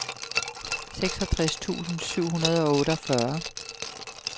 seksogtres tusind syv hundrede og otteogfyrre